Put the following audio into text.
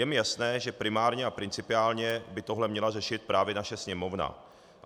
Je mi jasné, že primárně a principiálně by tohle měla řešit právě naše Sněmovna.